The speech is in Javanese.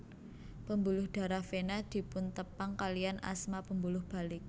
Pembuluh darah vena dipuntepang kaliyan asma pembuluh balik